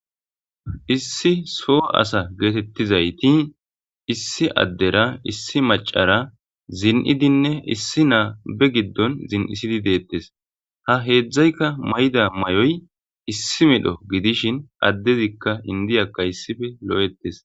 issi soo asa geetettizayti issi addera issi macara zin'idinne issi naa be giddon zin'isidi deettes. ha heedzdzaykka mayda mayoy issi medho gidishin addezikka indiyakka issife lo'ettes.